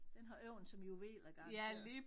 Den har øjne som juveler garanteret